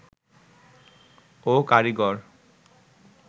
ও কারিগর